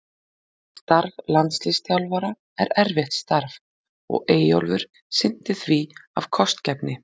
Starf landsliðsþjálfara er erfitt starf og Eyjólfur sinnti því af kostgæfni.